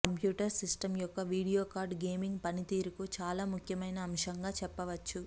computer system యొక్క video card gaming పనితీరుకు చాలా ముఖ్యమైన అంశంగా చెప్పవచ్చు